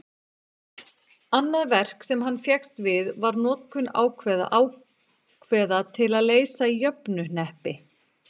annað verk sem hann fékkst við var notkun ákveða til að leysa jöfnuhneppi